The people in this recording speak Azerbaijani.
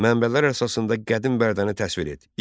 Mənbələr əsasında qədim Bərdəni təsvir et.